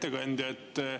Hea ettekandja!